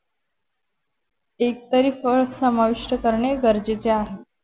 एक तरी फळ समाविष्ट करणे गरजेचे आहे